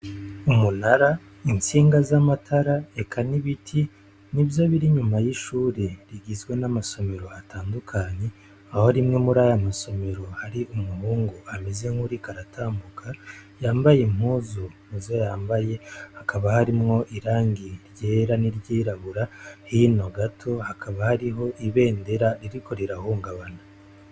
Umunara intsinga zamatara eka n'ibiti nivyo biri inyuma yishure rigizwe namasomero atandukanye aho rimwe murayo masomero harimwo umuhungu ameze nkuwuriko aratambuka yambaye impuzu muzo yambaye hakaba harimwo irangi ryera n'iryirabura hino gato hakaba hariho ibendera ririko rirahungabana.